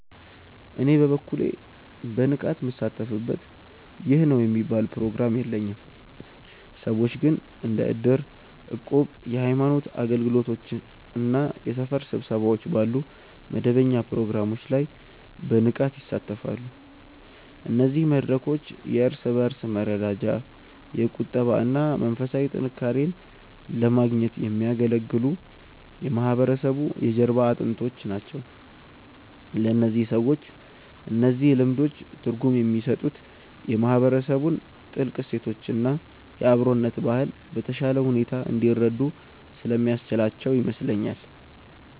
እኔ በበኩሌ በንቃት ምሳተፍበት ይህ ነው የሚባል ፕሮግራም የለኝም። ሰዎች ግን እንደ እድር፣ እቁብ፣ የሃይማኖት አገልግሎቶች እና የሰፈር ስብሰባዎች ባሉ መደበኛ ፕሮግራሞች ላይ በንቃት ይሳተፋሉ። እነዚህ መድረኮች የእርስ በእርስ መረዳጃ፣ የቁጠባ እና መንፈሳዊ ጥንካሬን ለማግኘት የሚያገለግሉ የማህበረሰቡ የጀርባ አጥንቶች ናቸው። ለእነዚህ ሰዎች እነዚህ ልምዶች ትርጉም የሚሰጡት የማህበረሰቡን ጥልቅ እሴቶች እና የአብሮነት ባህል በተሻለ ሁኔታ እንዲረዱ ስለሚያስችላቸው ይመስለኛል።